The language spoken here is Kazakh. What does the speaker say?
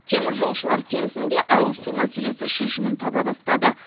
теміржолшылар кентінде ауызсу мәселесі шешімін таба бастады